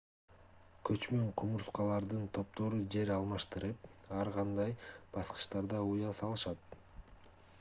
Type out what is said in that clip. көчмөн кумурскалардын топтору жер алмаштырып ар кандай баскычтарда уя салышат